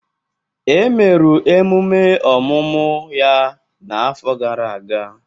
E meru emume ọmụmụ ya n'afọ gara aga.